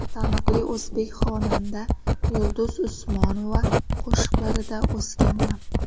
Taniqli o‘zbek xonanda Yulduz Usmonova qo‘shiqlarida o‘sganman.